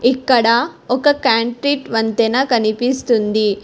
ఇక్కడ ఒక కాంక్రీట్ వంతెన కనిపిస్తుంది.